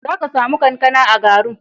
Za ka sami kankana a Garu.